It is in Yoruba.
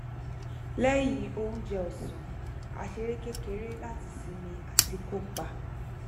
lẹyìn oúnjẹ ọsán a ṣeré kékeré láti sinmi àti kópa